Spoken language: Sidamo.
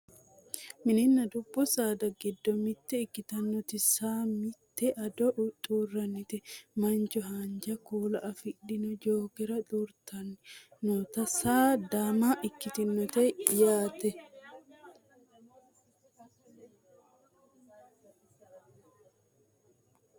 Mininna dubbu saada giddo mitte ikkitinota saa minita ado xuurtanni mancho haanja kuula afidhino jookera xuurtanno nootanna saano daama ikkitinote yaate